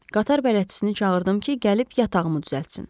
Qatar bələdçisini çağırdım ki, gəlib yatağımı düzəltsin.